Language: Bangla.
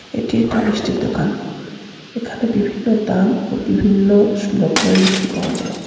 এটি একটি মিষ্টির দোকান এখানে বিভিন্ন দাম ও বিভিন্ন স রকমের মিষ্টি পাওয়া যায়।